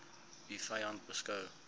u vyand beskou